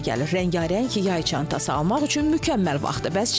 Rəngarəng yay çantası almaq üçün mükəmməl vaxtdır.